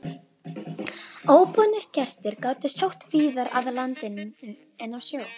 Óboðnir gestir gátu sótt víðar að landinu en á sjó.